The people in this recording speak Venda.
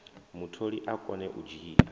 mutholi a kone u dzhia